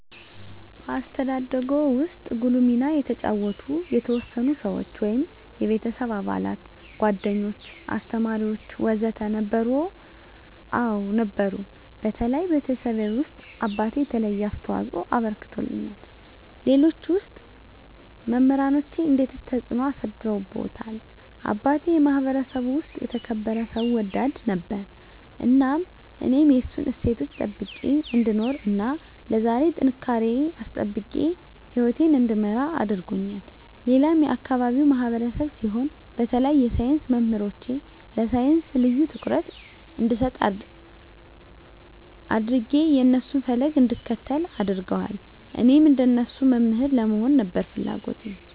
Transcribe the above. በአስተዳደግዎ ውስጥ ጉልህ ሚና የተጫወቱ የተወሰኑ ሰዎች (የቤተሰብ አባላት፣ ጓደኞች፣ አስተማሪዎች ወዘተ) ነበሩ? አዎ ነበሩ በተለይ ቤተሰቤ ውስጥ አባቴ የተለየ አስተዋፅኦ አበርክቶልኛል ሌሎች ውስጥ መምራኖቼ እንዴትስ ተጽዕኖ አሳድረውብዎታል አባቴ የማህበረሰቡ ውስጥ የተከበረ ሰው ወዳድ ነበር እናም እኔም የእሱን እሴቶች ጠብቄ እንድኖር እና ለዛሬ ጥንካሬየን አስጠብቄ ህይወቴን እንድመራ አድርጎኛል ሌላም የአካባቢው ማህበረሰብ ሲሆን በተለይ የሳይንስ መምህሮቼ ለሳይንስ ልዬ ትኩረት እንድሰጥ አድጌ የእነሱን ፈለግ እንድከተል አድርገዋል እኔም እንደነሱ መምህር ለመሆን ነበር ፍለጎቴ